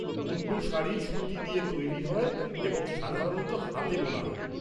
মুন্ডু শাড়ি সুতি দিয়ে তৈরি হয় এবং সাধারণত হাতে বোনা হয়।